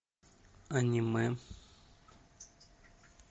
аниме